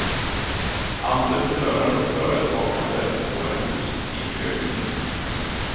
Entreprenörer och företagande får en positiv ökning.